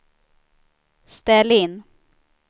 ställ in